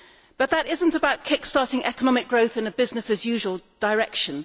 But that is not about kick starting economic growth in a business as usual' direction.